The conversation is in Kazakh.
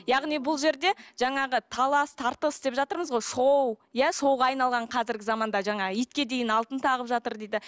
яғни бұл жерде жаңағы талас тартыс деп жатырмыз ғой шоу иә шоуға айналған қазіргі заманда жаңағы итке дейін алтын тағып жатыр дейді